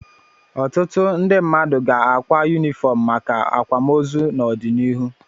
Ọtụtụ ndị mmadụ ga-akwa yunifọm maka akwamoozu n'ọdịnihu.